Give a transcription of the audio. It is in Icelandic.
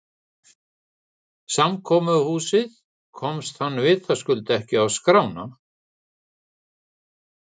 Samkomuhúsið komst hann vitaskuld ekki á skrána.